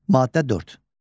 Maddə 4.